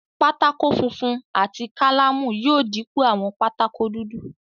Pátákó funfun àti kálámù yóò dípò àwọn pátákó dudu.